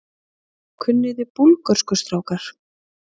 Kunniði Búlgörsku strákar?